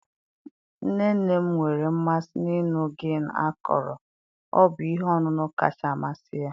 nne nne m nwere mmasị n'ịṅụ gin akọrọ, ọ bụ ihe ọṅụṅụ kacha amasị ya